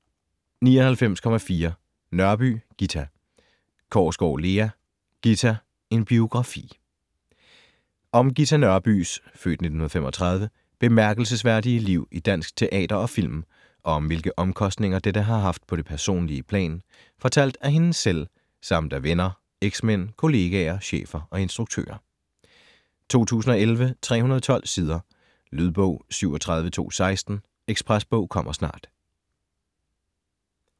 99.4 Nørby, Ghita Korsgaard, Lea: Ghita: en biografi Om Ghita Nørbys (f. 1935) bemærkelsesværdige liv i dansk teater og film, og om hvilke omkostninger dette har haft på det personlige plan, fortalt af hende selv, samt af venner, eksmænd, kollegaer, chefer og instruktører. 2011, 312 sider. Lydbog 37216 Ekspresbog - kommer snart